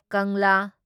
ꯀꯪꯂꯥ